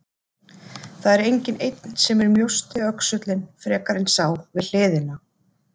Það er enginn einn sem er mjósti öxullinn frekar en sá við hliðina.